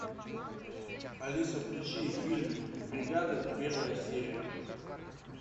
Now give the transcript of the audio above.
алиса включи фильм бригада первая серия